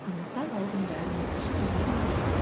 сондықтан ол күн бәріміз үшін демалыс